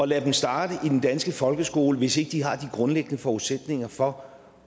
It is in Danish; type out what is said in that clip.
lade dem starte i den danske folkeskole hvis ikke de har de grundlæggende forudsætninger for